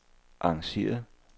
arrangeret